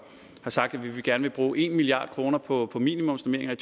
sagt at vi gerne vil bruge en milliard kroner på minimumsnormeringer i